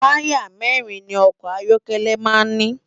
Tàyá mèrin ni òkò áyòkèlè má n ni